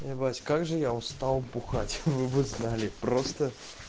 ебать как же я устал бухать вы бы знали просто